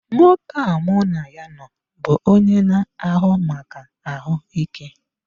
Nwoke a mụ na ya nọ bụ onye na-ahụ maka ahụike.